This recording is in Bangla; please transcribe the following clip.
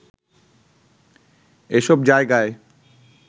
এসব জায়গায়